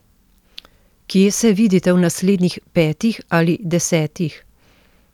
Kje se vidite v naslednjih petih ali desetih?